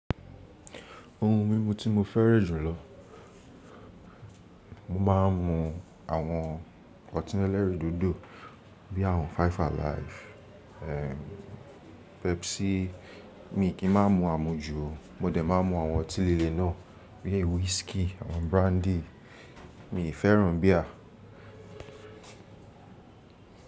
Ohun mímu tí mo fẹ́ran jùlọ, mo máa ń mu àwọn ọtí ẹlẹ́rìndòdò bí i àwọn Five Alive, Pepsi, mi kì í máa ń mu àmuju. Mo dẹ̀ máa ń mu àwọn ọtí líle náà bíi whiskey, àwọn brandy, mi fẹ́ràn beer.